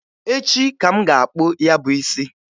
Echi ka m ga-akpụ ya bụ isi.